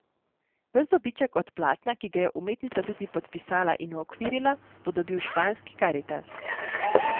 Ves dobiček od platna, ki ga je umetnica tudi podpisala in uokvirila, bo dobil španski Karitas.